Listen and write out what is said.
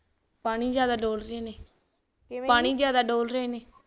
ਪਾਣੀ ਜਿਆਦਾ ਡੋਲਦੇ ਨੇ